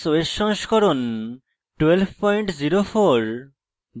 ubuntu linux os সংস্করণ 1204